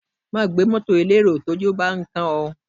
Má gbé mọ́tọ̀ elérò tójú bán kán ẹ.